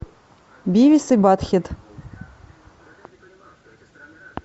бивис и баттхед